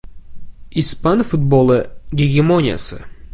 Ispan futboli gegemoniyasi.